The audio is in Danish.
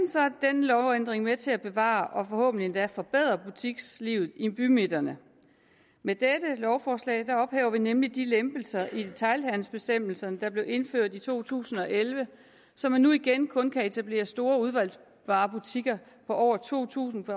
lovændring med til at bevare og forhåbentlig endda forbedre butikslivet i bymidterne med dette lovforslag ophæver vi nemlig de lempelser i detailhandelsbestemmelserne der blev indført i to tusind og elleve så man nu igen kun kan etablere store udvalgsvarebutikker på over to tusind